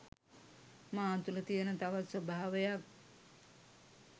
මා තුළ තියෙන තවත් ස්වභාවයක්.